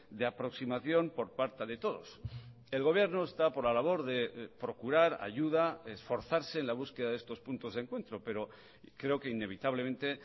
de aproximación por parte de todos el gobierno está por la labor de procurar ayuda esforzarse en la búsqueda de estos puntos de encuentro pero creo que inevitablemente